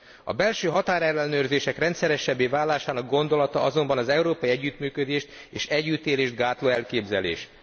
A belső határellenőrzések rendszeresebbé válásának gondolata azonban az európai együttműködést és együttélést gátló elképzelés.